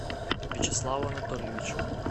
вячеславу анатольевичу